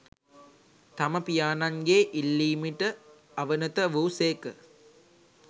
තම පියාණන්ගේ ඉල්ලීමට අවනත වූ සේක